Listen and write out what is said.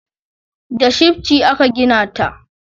Da shifci aka gina ta